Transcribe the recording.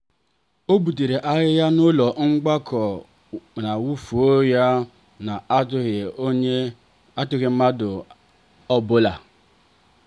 o butere ahịhịa n'ulo mgbakọ wee wụfuo ya n'ajughi mmadụ ajụjụ.